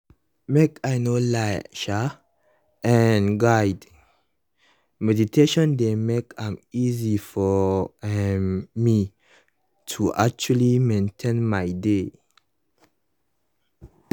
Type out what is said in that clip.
make i no lie [um][um]guided meditation dey make am easy for um me to actually maintain my dey